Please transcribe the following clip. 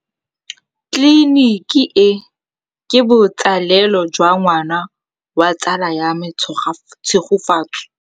Tleliniki e, ke botsalêlô jwa ngwana wa tsala ya me Tshegofatso.